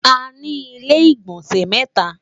àní ilé igbọnsẹ mẹta